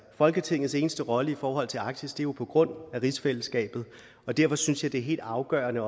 folketingets eneste rolle i forhold til arktis spilles jo på grund af rigsfællesskabet og derfor synes jeg også det er helt afgørende